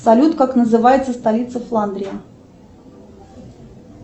салют как называется столица фландрии